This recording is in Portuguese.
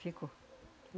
Ficou.